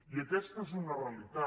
i aquesta és una realitat